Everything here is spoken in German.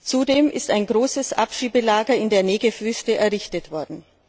Zudem ist ein großes Abschiebelager in der Wüste Negev errichtet worden.